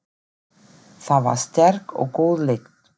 Þar var sterk og góð lykt.